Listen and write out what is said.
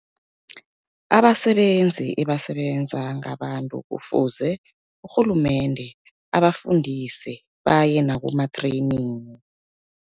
Abasebenzi ebasebenza ngabantu kufuze urhulumende abafundise baye nakuma-training.